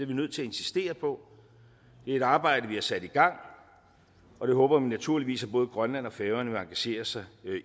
vi nødt til at insistere på det er et arbejde vi har sat i gang og det håber vi naturligvis at både grønland og færøerne vil engagere sig